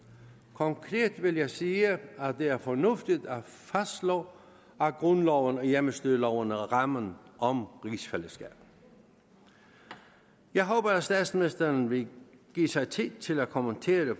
konkret vil jeg sige at det er fornuftigt at fastslå at grundloven og hjemmestyreloven er rammen om rigsfællesskabet jeg håber at statsministeren vil give sig tid til at kommentere